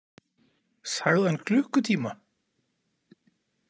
Sagði hann klukkutíma?